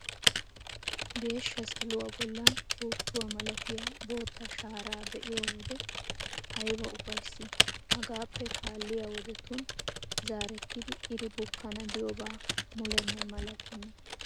Geeshsha saluwa bollan puuttuwa malatiya bootta shaaraa be'iyo wode ayba ufayssii! Hagaappe kaalliya wodetun zaarettidi iri bukkana diyoba mulenne malatenna.